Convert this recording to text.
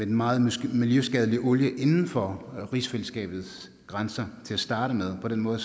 den meget miljøskadelige olie inden for rigsfællesskabets grænser til at starte med på den måde